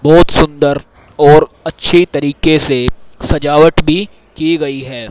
बहोत सुंदर और अच्छी तरीके से सजावट भी की गई है।